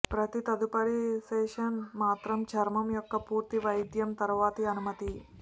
ప్రతి తదుపరి సెషన్ మాత్రమే చర్మం యొక్క పూర్తి వైద్యం తరువాత అనుమతి